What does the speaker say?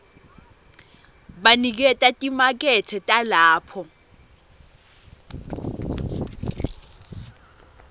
baniketa timakethe talapho